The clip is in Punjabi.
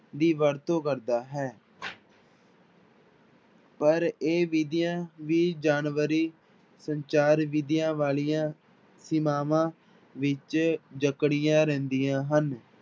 ਦੀ ਵਰਤੋਂ ਕਰਦਾ ਹੈ ਪਰ ਇਹ ਵਿੱਧੀਆਂ ਵੀ ਜਾਨਵਰੀ ਸੰਚਾਰ ਵਿੱਧੀਆਂ ਵਾਲੀਆਂ ਸੀਮਾਵਾਂ ਵਿੱਚ ਜਕੜੀਆਂ ਰਹਿੰਦੀਆਂ ਹਨ।